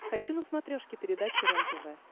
хочу на смотрешке передачу рентв